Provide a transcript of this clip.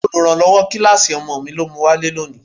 Oluranlowo kíláàsì ọmọ mi ló mu wálé lónìí.